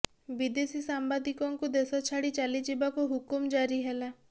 ବିଦେଶୀ ସାମ୍ବାଦିକଙ୍କୁ ଦେଶ ଛାଡି ଚାଲିଯିବାକୁ ହୁକୁମ ଜାରି ହେଲା